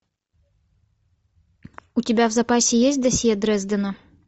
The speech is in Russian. у тебя в запасе есть досье дрездена